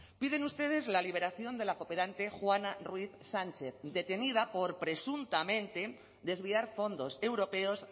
piden ustedes la liberación de la cooperante juana ruiz sánchez detenida por presuntamente desviar fondos europeos